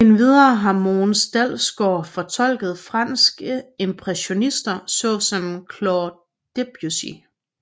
Endvidere har Mogens Dalsgaard fortolket franske impressionister såsom Claude Debussy